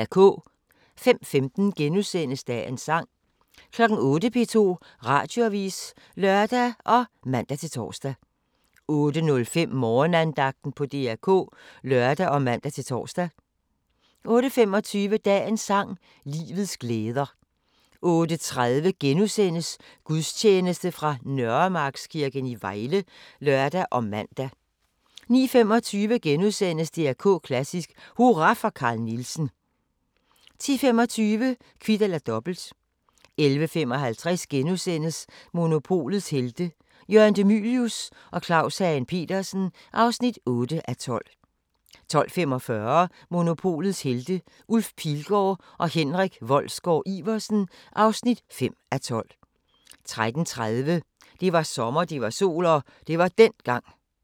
05:15: Dagens sang * 08:00: P2 Radioavis (lør og man-tor) 08:05: Morgenandagten på DR K (lør og man-tor) 08:25: Dagens sang: Livets glæder 08:30: Gudstjeneste fra Nørremarkskirken i Vejle *(lør og man) 09:25: DR K Klassisk: Hurra for Carl Nielsen * 10:25: Kvit eller Dobbelt 11:55: Monopolets Helte – Jørgen De Mylius og Claus Hagen Petersen (8:12)* 12:45: Monopolets Helte – Ulf Pilgaard og Henrik Wolsgaard-Iversen (5:12) 13:30: Det var sommer, det var sol – og det var dengang